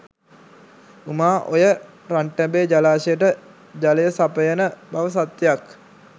උමා ඔය රන්ටබේ ජලාශයට ජලය සපයන බව සත්‍යක්